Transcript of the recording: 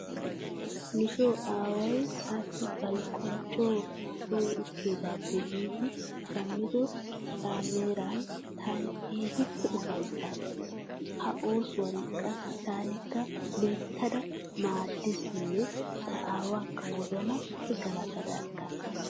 Nu soo aaway taassi baligguwan coo sooni uttaagoppa giidi shammido caameeran taani keehippe ufayittaas. Ha oosuwan qassi tanakka loyittada maaddasinne ta aawaakka wozanappe galatada aggaas.